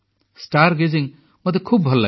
ତାରାମାନଙ୍କୁ ଦେଖିବା ମୋତେ ଖୁବ୍ ଭଲଲାଗେ